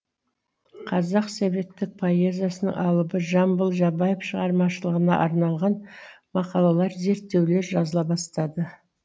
қазақ советтік поэзиясының алыбы жамбыл жабаев шығармашылығына арналған мақалалар зерттеулер жазыла бастады